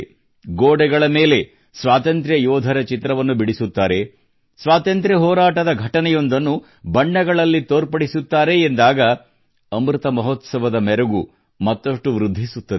ಗೋಡೆಗಳ ಮೇಲೆ ಸ್ವಾತಂತ್ರ್ಯ ಯೋಧರ ಚಿತ್ರವನ್ನು ಬಿಡಿಸುತ್ತಾರೆ ಸ್ವಾತಂತ್ರ್ಯ ಹೋರಾಟದ ಘಟನೆಯೊಂದನ್ನು ಬಣ್ಣಗಳಲ್ಲಿ ತೋರ್ಪಡಿಸುತ್ತಾರೆ ಎಂದಾಗ ಅಮೃತ ಮಹೋತ್ಸವದ ಮೆರುಗು ಮತ್ತಷ್ಟು ವೃದ್ಧಿಸುತ್ತದೆ